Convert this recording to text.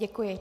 Děkuji.